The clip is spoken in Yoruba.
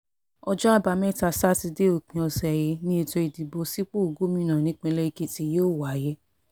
ọjọ́ àbámẹ́ta sátidé òpin ọ̀sẹ̀ yìí ni ètò ìdìbò sípò gómìnà nípínlẹ̀ èkìtì yóò wáyé